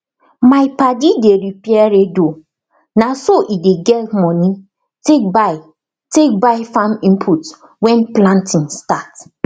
my padi dey repair radio na so e dey get money take buy take buy farm input when planting start